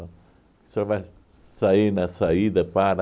O senhor vai sair na saída para...